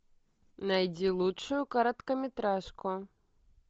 найди лучшую короткометражку